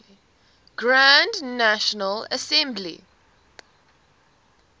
grand national assembly